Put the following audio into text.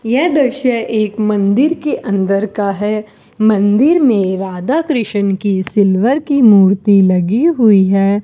यह दृश्य एक मंदिर के अंदर का है मंदिर मे राधाकृष्ण की सिल्वर की मूर्ति लगी हुई है।